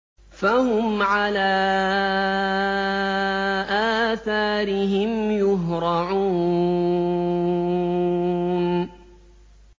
فَهُمْ عَلَىٰ آثَارِهِمْ يُهْرَعُونَ